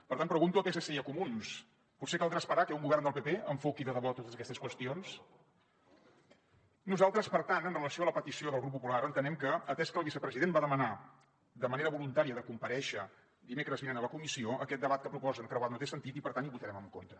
per tant pregunto a psc i a comuns potser caldrà esperar que un govern del pp enfoqui de debò totes aquestes qüestions nosaltres per tant amb relació a la petició del grup popular entenem que atès que el vicepresident va demanar de manera voluntària de comparèixer dimecres vinent a la comissió aquest debat que proposen creuat no té sentit i per tant hi votarem en contra